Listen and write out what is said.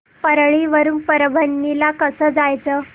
परळी वरून परभणी ला कसं जायचं